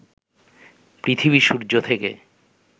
পৃথিবী সূর্য থেকে